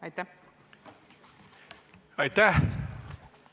Aitäh!